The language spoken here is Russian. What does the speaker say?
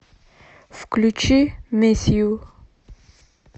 включи мисс ю